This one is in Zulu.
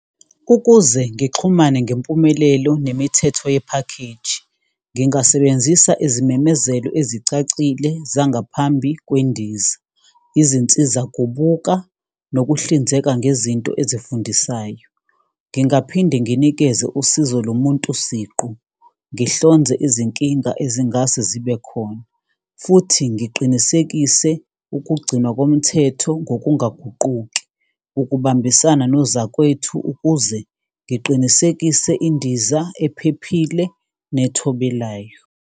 Ukuze ngixhumane ngempumelelo nemithetho ye-package, ngingasebenzisa izimemezelo ezicacile zangaphambi kwendiza, izinsizakubuka nokuhlinzeka ngezinto ezifundisayo. Ngingaphinde nginikeze usizo lomuntu siqu. Ngihlonze izinkinga ezingase zibe khona, futhi ngiqinisekise ukugcinwa komthetho ngokungaguquki, ukubambisana nozakwethu ukuze ngiqinisekise indiza ephephile nethobelayo.